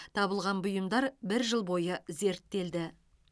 табылған бұйымдар бір жыл бойы зерттелді